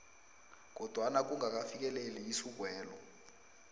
kodwana kungakafikeleli isukwelo